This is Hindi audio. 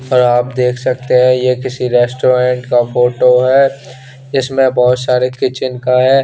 ये आप देख सकते है ये किसी रेस्टोरेंट का फोटो है इसमें बोहोत सारे किचन का --